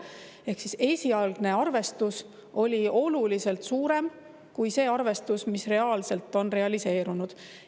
Ehk esialgne arvestus oli oluliselt suurem kui see, mis on realiseerunud.